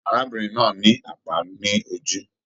Arábìnrin náà ní àpá ní ojú.